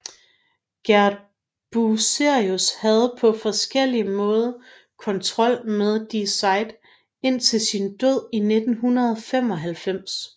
Gerd Bucerius havde på forskellig måde kontrol med Die Zeit indtil sin død i 1995